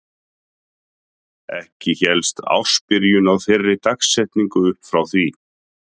Ekki hélst ársbyrjun á þeirri dagsetningu upp frá því.